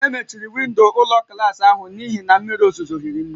E mechiri windo ụlọ klas ahụ n'ihi na mmiri ozuzo hiri nne